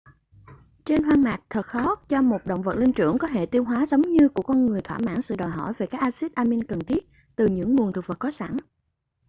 trên hoang mạc thật khó cho một động vật linh trưởng có hệ tiêu hóa giống như của con người thỏa mãn sự đòi hỏi về các axít amin cần thiết từ những nguồn thực vật có sẵn